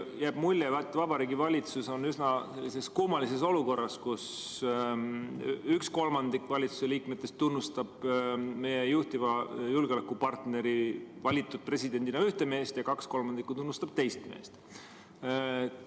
Jääb mulje, et Vabariigi Valitsus on üsna kummalises olukorras, kus üks kolmandik valitsuse liikmetest tunnustab meie juhtiva julgeolekupartneri valitud presidendina ühte meest ja kaks kolmandikku tunnustab teist meest.